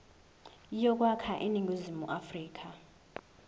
yokwakha iningizimu afrika